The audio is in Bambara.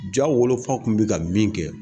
Ja wolofaw kun mi ka min kɛ